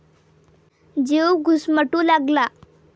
जीव घुसमटू लागला.